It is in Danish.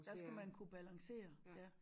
Der skal man kunne balancere ja